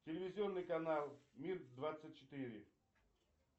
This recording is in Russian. телевизионный канал мир двадцать четыре